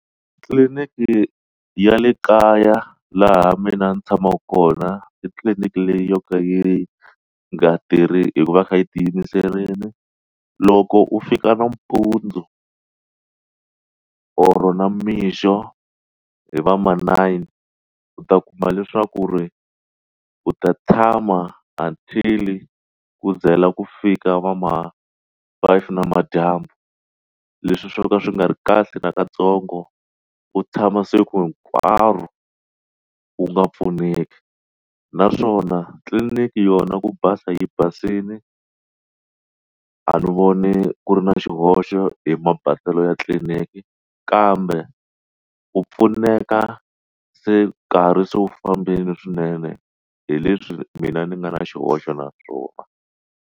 Tliliniki ya le kaya laha mina ni tshamaka kona i tliliniki leyi yo ka yi nga tirhi hikuva kha yi ti yimiserile loko u fika nampundzu or namixo hi va ma nine u ta kuma leswaku ri u ta tshama until ku zila ku fika va ma five namadyambu leswi swo ka swi nga ri kahle na katsongo ku tshama siku hinkwaro wu nga pfuneki naswona tliliniki yona ku basa yi basile a ndzi voni ku ri na xihoxo hi mabaselo ya tliliniki kambe ku pfuneka se karhi se wu fambile swinene hi leswi mina ni nga na xihoxo na swona.